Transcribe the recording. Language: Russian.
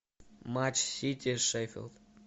матч сити шеффилд